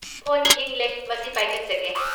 Phone ꯈꯤꯡꯂꯦ, ꯃꯁꯤ ꯄꯥꯏꯈꯠꯆꯒꯦ꯫